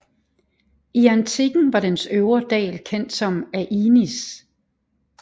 I antikken var dens øvre dal kendt som Ainis